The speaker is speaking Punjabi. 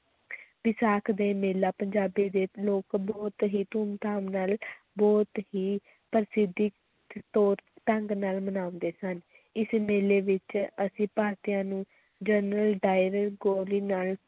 ਵਿਸਾਖ ਦੇ ਮੇਲਾ, ਪੰਜਾਬੀ ਦੇ ਲੋਕ ਬਹੁਤ ਹੀ ਧੂਮ ਧਾਮ ਨਾਲ ਬਹੁਤ ਹੀ ਪ੍ਰਸਿੱਧ ਤੌਰ ਢੰਗ ਨਾਲ ਮਨਾਉਂਦੇ ਸਨ, ਇਸ ਮੇਲੇ ਵਿੱਚ ਅਸੀਂ ਭਾਰਤੀਆਂ ਨੂੰ ਜਨਰਲ ਡਾਇਰ ਗੋਲੀ ਨਾਲ